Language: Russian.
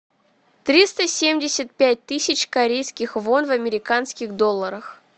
триста семьдесят пять тысяч корейских вон в американских долларах